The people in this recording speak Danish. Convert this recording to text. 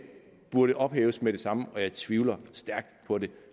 burde ophæves med det samme jeg tvivler stærkt på det